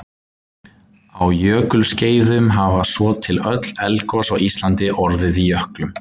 á jökulskeiðum hafa svo til öll eldgos á íslandi orðið í jöklum